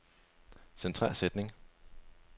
Centrer sætning.